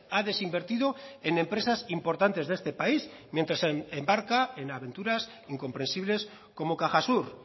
ha desinvertido en empresas importantes de este país mientras se embarca en aventuras incomprensibles como cajasur